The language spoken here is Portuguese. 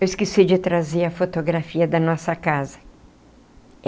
Eu esqueci de trazer a fotografia da nossa casa.